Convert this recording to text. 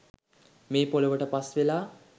මේ පොලොවට පස්වෙලා